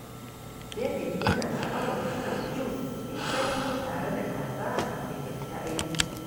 David yana sha’awar shan jus mai sanyi tare da kaza kafin ya fita aiki.